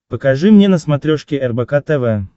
покажи мне на смотрешке рбк тв